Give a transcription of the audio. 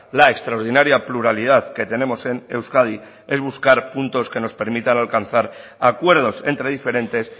la extraordinaria pluralidad que tenemos en euskadi es buscar puntos que nos permita alcanzar acuerdos entre diferentes